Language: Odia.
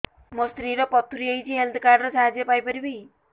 ମୋ ସ୍ତ୍ରୀ ର ପଥୁରୀ ହେଇଚି ହେଲ୍ଥ କାର୍ଡ ର ସାହାଯ୍ୟ ପାଇପାରିବି